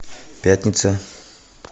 пятница